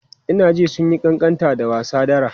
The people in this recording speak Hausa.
Ina jin sun yi ƙanƙanta da wasa dara.